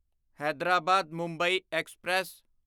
Hyderabad Mumbai express